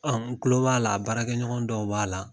An n kulo b'a la a baarakɛɲɔgɔn dɔw b'a la